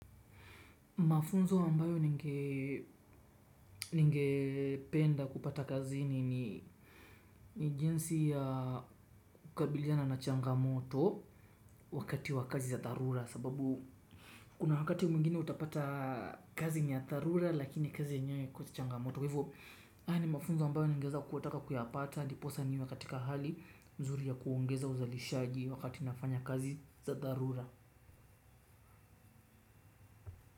Mafunzo ambayo ningependa kupata kazini ni jinsi ya kukabiliana na changamoto wakati wa kazi za dharura sababu kuna wakati mwingine utapata kazi ni ya dharura lakini kazi yenyewe haikosi changamoto kwa hivo haya ni mafunzo ambayo ningeweza kutaka kuyapata ndiposa niwe katika hali mzuri ya kuongeza uzalishaji wakati nafanya kazi za dharura.